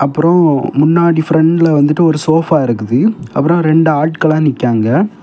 அப்ரோ முன்னாடி பிரண்ட்ல வந்துட்டு ஓரு சோபா இருக்குது அப்ரோ ரெண்டு ஆட்கல்லா நிக்கங்க.